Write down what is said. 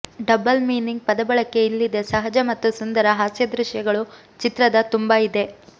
double meaning ಪದಬಳಕೆ ಇಲ್ಲಿದೆ ಸಹಜ ಮತ್ತು ಸುಂದರ ಹಾಸ್ಯ ದೃಶ್ಯಗಳು ಚಿತ್ರದ ತುಂಬ ಇದೆ